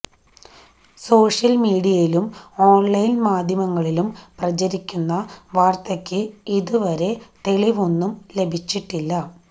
social മീഡിയയിലും online മാധ്യമങ്ങളിലും പ്രചരിക്കുന്ന വാര്ത്തയ്ക്ക് ഇതുവരെ തെളിവൊന്നും ലഭിച്ചിട്ടില്ല